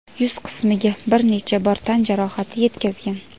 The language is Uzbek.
yuz qismiga bir necha bor tan jarohati yetkazgan.